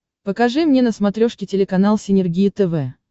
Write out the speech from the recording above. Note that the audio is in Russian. покажи мне на смотрешке телеканал синергия тв